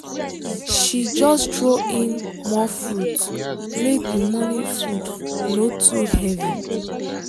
she just throw in more fruit make the morning food no too heavy.